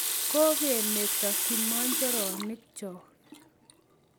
Ko kemeto kimojoronik choo